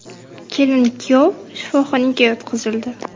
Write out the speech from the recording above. Kelin-kuyov shifoxonaga yotqizildi.